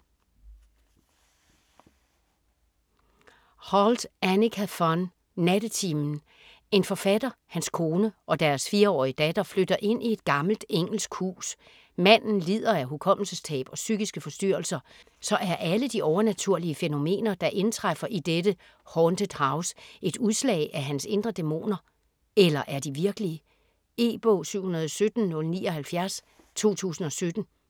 Holdt, Annika von: Nattetimen En forfatter, hans kone og deres 4-årige datter flytter ind i et gammelt engelsk hus. Manden lider af hukommelsestab og psykiske forstyrrelser, så er alle de overnaturlige fænomener der indtræffer i dette "haunted house" et udslag af hans indre dæmoner, eller er de virkelige? E-bog 717079 2017.